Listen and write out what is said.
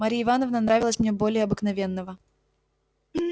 марья ивановна нравилась мне более обыкновенного